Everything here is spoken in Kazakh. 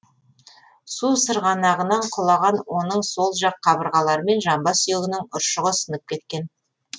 су сырғанағынан құлаған оның сол жақ қабырғалары мен жамбас сүйегінің ұршығы сынып кеткен